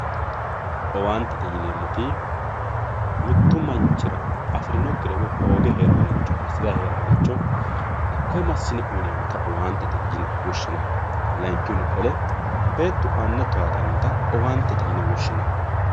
owanitete yinemoti mittu manchira afirinokire woyi hoge heraworicho hasirayi heraricho hakoyi masine uyinemotta owantete yine woshinanni layinkihunni qolle bettu ana towatanotta owanitete yine woshinanni